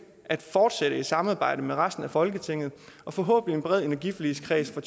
at fortsætte samarbejdet med resten af folketinget og forhåbentlig en bred energiforligskreds fra